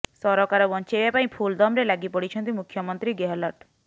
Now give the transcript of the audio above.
ସରକାର ବଞ୍ଚାଇବା ପାଇଁ ଫୁଲ୍ ଦମରେ ଲାଗିପଡିଛନ୍ତି ମୁଖ୍ୟମନ୍ତ୍ରୀ ଗେହଲଟ